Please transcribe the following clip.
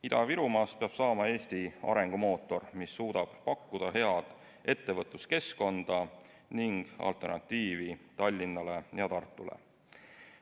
Ida-Virumaast peab saama Eesti arengumootor, mis suudab pakkuda head ettevõtluskeskkonda ning alternatiivi Tallinnale ja Tartule.